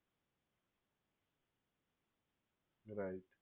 right